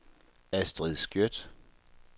Astrid Skjødt